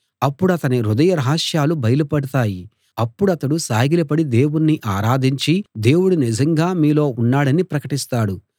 అప్పుడతని హృదయ రహస్యాలు బయలుపడతాయి అప్పుడతడు సాగిలపడి దేవుణ్ణి ఆరాధించి దేవుడు నిజంగా మీలో ఉన్నాడని ప్రకటిస్తాడు